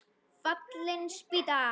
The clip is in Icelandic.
Fallin spýta